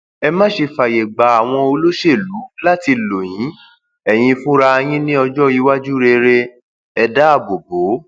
ẹ má ṣe fààyè gba àwọn olóṣèlú láti lọ yin ẹyin fúnra yín ní ọjọiwájú rere ẹ dáàbò bò ó